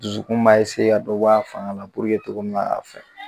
Dusukun b'a ka dɔ b'a fanga la togomin na a fɛ